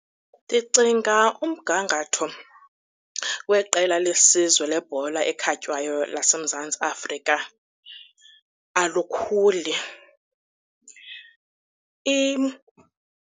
Ndicinga umgangatho weqela lesizwe lebhola ekhatywayo laseMzantsi Afrika alikhuli .